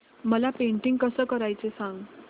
मला पेंटिंग कसं करायचं सांग